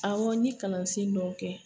Awɔ n ɲ e kalansen dɔw kɛ.